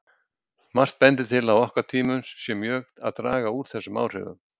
Margt bendir til að á okkar tímum sé mjög að draga úr þessum áhrifum.